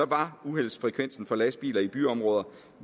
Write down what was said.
var uheldsfrekvensen for lastbiler i byområder